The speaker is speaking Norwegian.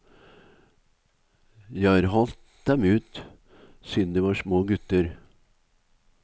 Jeg har halt dem ut siden de var små gutter.